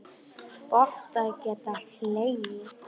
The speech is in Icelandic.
Gott að geta hlegið.